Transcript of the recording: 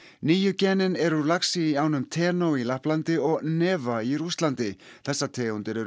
nýju genin eru úr laxi í ánum í Lapplandi og í Rússlandi þessar tegundir eru